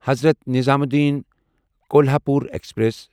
Hazrat Nizamuddin Kolhapur express